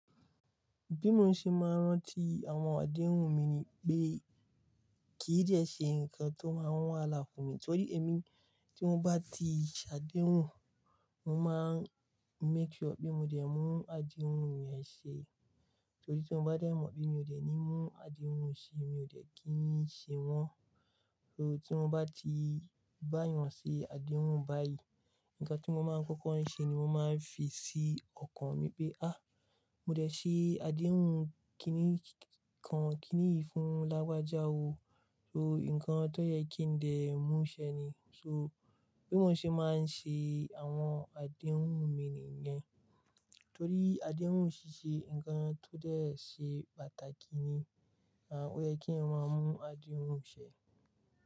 Bí mo ṣe máa ń rántí àwọn àdéhùn mi ni pé kì í dẹ́ ṣe nǹkan tó máa ń wà láàfùn mi, torí èmi tí mo bá ti ṣàdéhùn, mo máa ń make sure pé mo dẹ̀ mú àdéhùn mi yẹn ṣe. Torí tí mo bá dẹ̀ mọ̀ pé mi ò dẹ̀ ní mú àdéhùn ṣe, mi ò dẹ̀ kí n ṣe wọ́n. So tí mo bá ti bá yàn sí àdéhùn báyìí, nǹkan tí mo máa ń kọ́kọ́ ṣe ni mo máa ń fi sí ọkàn mi pé, "à mo dẹ̀ ṣe àdéhùn kíni kan kíni yìí fún lágbájá o." So nǹkan tó yẹ kí n dẹ̀ mú ṣẹ ni. So bí mo ṣe máa ń ṣe àwọn àdéhùn mi nìyẹn. Torí àdéhùn ṣiṣẹ́ nǹkan tó dẹ̀ ṣe pàtàkì ni, à ó yẹ kí wọn mú àdéhùn ṣẹ.